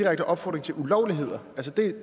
at opfordre til